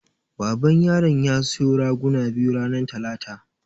Baban yaran ya siyo raguna biyu ranar talata.